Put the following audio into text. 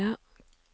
Kvalsund